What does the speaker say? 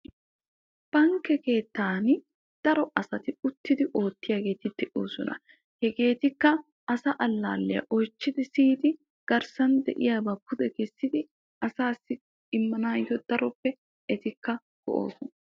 Bankke keettani daro asati uttidi oottiyaageti de'oosona. hegeetikka asa allaalliyaa oychchidi siyidi garssan de'iyaaba pude kessidi asaassi immanayoo daroppe etikka go"oosona.